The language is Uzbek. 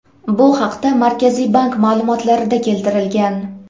Bu haqda Markaziy bank ma’lumotlarida keltirilgan .